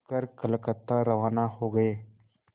कर कलकत्ता रवाना हो गए